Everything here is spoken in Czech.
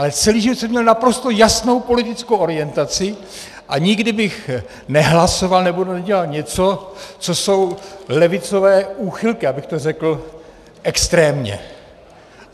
Ale celý život jsem měl naprosto jasnou politickou orientaci a nikdy bych nehlasoval nebo nedělal něco, co jsou levicové úchylky, abych to řekl extrémně.